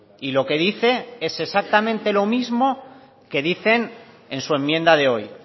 y lo que dice es exactamente lo mismo que dicen en su enmienda de hoy